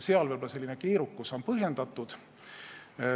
Seal võib selline keerukus olla põhjendatud.